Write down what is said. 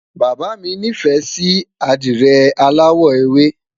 bàbá mi ní fẹ Si adire alawọ ewe